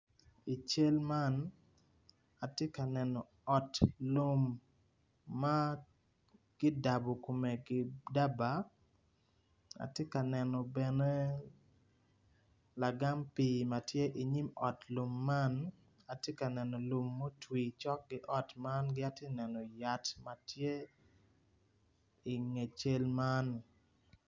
I cal man atye ka neno ot lum ma kidabo kome ki daba ki la gam pii ki atye ka neno yat ma tye i nge cal man.